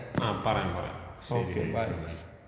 ആ പറയാം പറയാം ശരി ബൈ.